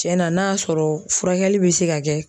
Cɛn na n'a y'a sɔrɔ furakɛli bi se ka kɛ.